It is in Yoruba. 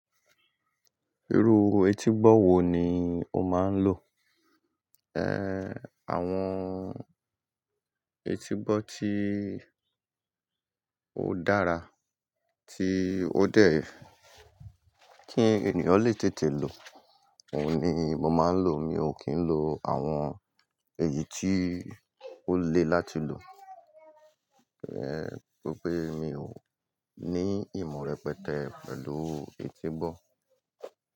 Irú etígbọ̀ wo ni o máa ń lò? Ehn, àwọn etígbọ̀ tí ó dára, tí ó dé kí ènìyàn lè tètè lò, òun ni mo máa ń lò. Mi ò kí ń lo àwọn èyí tí ò le láti lò, eh, bó pé mi ò ní ìmọ̀ rẹpẹtẹ pẹ̀lú etígbọ̀